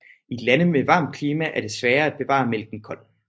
I lande med varmt klima er det sværere at bevare mælken kold